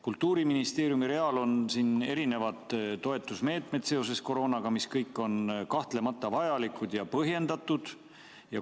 Kultuuriministeeriumi real on erinevad toetusmeetmed seoses koroonaga, need kõik on kahtlemata vajalikud ja põhjendatud.